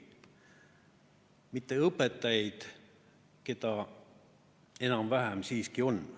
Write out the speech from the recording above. Mitte õpetajaid, neid enam-vähem siiski on.